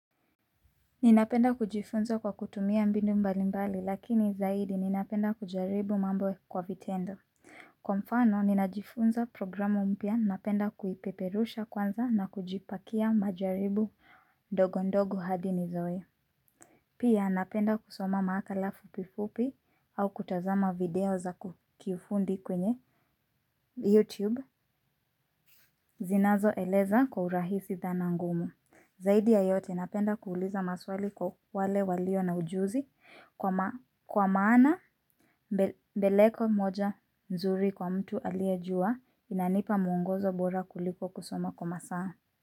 Ninapenda kujifunza kwa kutumia mbinu mbali mbali lakini zaidi ninapenda kujaribu mambo kwa vitendo. Kwa mfano ninajifunza programu mpya napenda kuipeperusha kwanza na kujipakia majaribu ndogondogo hadi nizoee. Pia napenda kusoma maakala fupifupi au kutazama video za kiufundi kwenye YouTube zinazoeleza kwa urahisi dhana ngumu. Zaidi ya yote napenda kuuliza maswali kwa wale walio na ujuzi kwa maana mbeleko moja nzuri kwa mtu aliyejua inanipa mungozo bora kuliko kusoma kwa masaa.